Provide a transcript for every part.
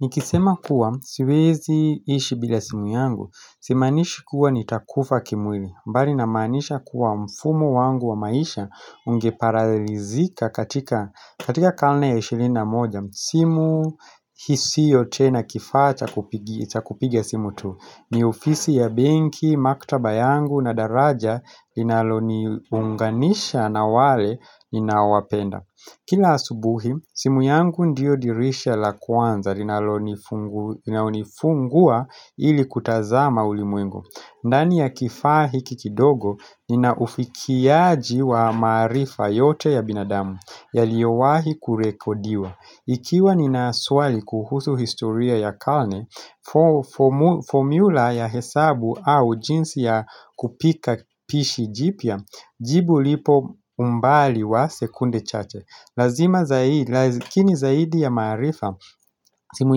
Nikisema kuwa, siwezi ishi bila simu yangu, si maanishi kuwa nitakufa kimwili, mbali na maanisha kuwa mfumo wangu wa maisha ungeparalizika katika karne ya ishirini na moja, simu hiisiyo tena kifaa cha kupigia cha kupiga simu tu, ni ofisi ya benki, maktaba yangu na daraja linaloni unganisha na wale ninaowapenda. Kila asubuhi, simu yangu ndiyo dirisha la kwanza linalonifungua ili kutazama ulimwengu. Ndani ya kifaa hiki kidogo, ninaufikiaji wa maarifa yote ya binadamu, yaliowahi kurekodiwa. Ikiwa nina swali kuhusu historia ya karne, formula ya hesabu au jinsi ya kupika pishi jipya jibu lipo umbali wa sekunde chache Lazima zaidi, lakini zaidi ya maarifa, simu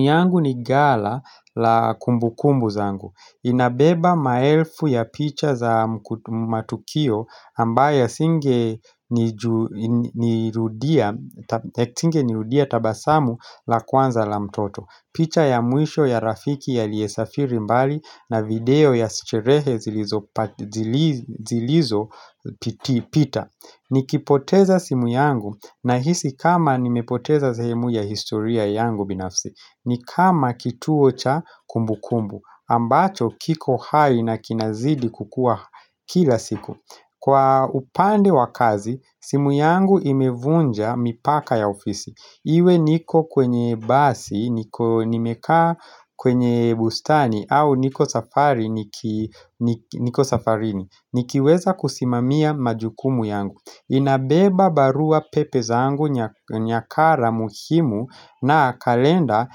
yangu ni gala la kumbu kumbu zangu Inabeba maelfu ya picha za matukio ambaya singe nirudia tabasamu la kwanza la mtoto picha ya mwisho ya rafiki a liyesafiri mbali na video ya sicherehe zilizo pita Nikipoteza simu yangu nahisi kama nimepoteza zehemu ya historia yangu binafsi Nikama kituo cha kumbu kumbu ambacho kiko hai na kinazidi kukua kila siku Kwa upande wa kazi, simu yangu imevunja mipaka ya ofisi Iwe niko kwenye basi, niko nimekaa kwenye bustani au niko safari niki niko safarini Nikiweza kusimamia majukumu yangu Inabeba barua pepe zangu nyakara muhimu na kalenda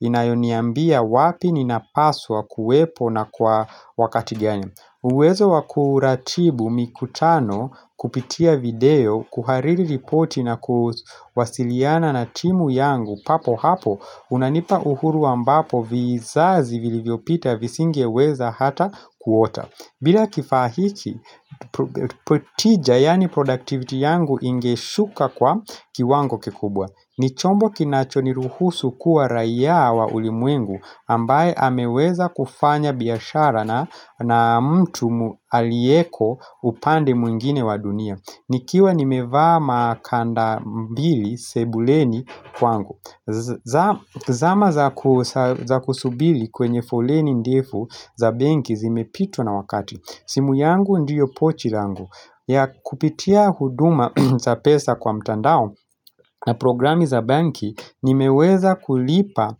inayoniambia wapi ninapaswa kuwepo na kwa wakati gani uwezo wakuratibu mikutano kupitia video kuhariri ripoti na kuwasiliana na timu yangu papo hapo unanipa uhuru ambapo vizazi vilivyopita visinge weza hata kuota bila kifaa hiki, protija yaani productivity yangu ingeshuka kwa kiwango kikubwa Nichombo kinachoniruhusu kuwa raia wa ulimwengu ambaye ameweza kufanya biashara na mtu aliyeko upande mwingine wa dunia Nikiwa nimevaa makanda mbili sebuleni kwangu zama za kusubili kwenye foleni ndefu za benki zimepitwa na wakati simu yangu ndiyo pochi langu ya kupitia huduma za pesa kwa mtandao na programi za banki nimeweza kulipa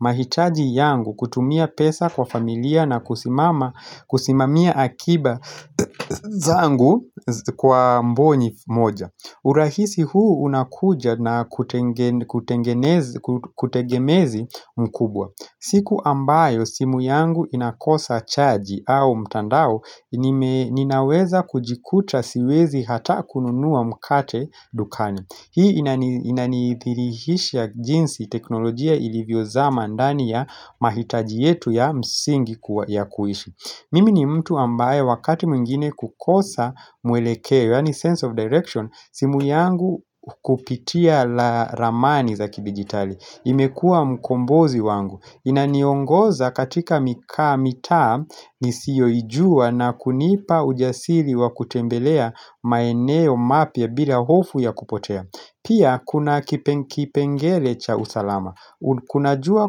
mahitaji yangu kutumia pesa kwa familia na kusimama kusimamia akiba zangu kwa mbonyi moja urahisi huu unakuja na kutengemezi mkubwa. Siku ambayo simu yangu inakosa chaji au mtandao nime ninaweza kujikuta siwezi hata kununua mkate dukani. Hii inanithirihisha jinsi teknolojia ilivyozama ndani ya mahitaji yetu ya msingi kuwa ya kuishi Mimi ni mtu ambaye wakati mwingine kukosa mwelekeo yaani sense of direction simu yangu kupitia la ramani zaki digitali imekuwa mkombozi wangu Inaniongoza katika mikaa, mitaa, nisiyo ijua na kunipa ujasili wa kutembelea maeneo mapya bila hofu ya kupotea Pia kuna kipengele cha usalama Kunajua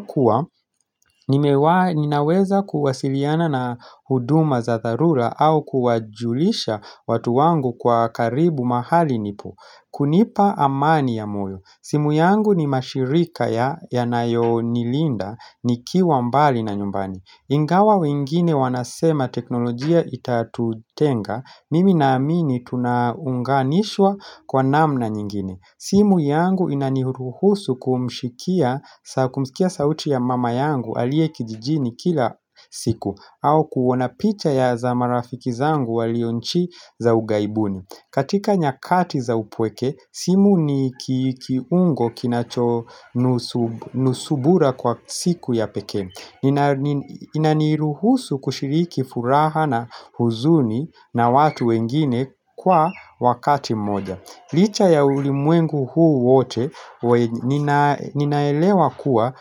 kuwa ninaweza kuwasiliana na huduma za tharura au kuwajulisha watu wangu kwa karibu mahali nipo kunipa amani ya moyo simu yangu ni mashirika ya nayo nilinda ni kiwa mbali na nyumbani Ingawa wengine wanasema teknolojia itatutenga mimi na amini tunaunganishwa kwa namna nyingine simu yangu inanihuruhusu kumshikia kumskia sauti ya mama yangu aliye kijijini kila siku au kuona picha ya za marafiki zangu walionchi za ughaibuni katika nyakati za upweke, simu ni kiungo kinacho nusu nusubura kwa siku ya pekee nina inaniruhusu kushiriki furaha na huzuni na watu wengine kwa wakati mmoja Licha ya ulimwengu huu wote ninaelewa kuwa.